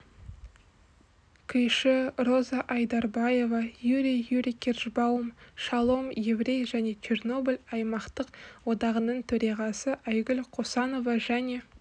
күйші роза айдарбаева юрий юрийкержбаум шалом еврей және чернобыль аймақтық одағының төрағасы айгүл қосанова және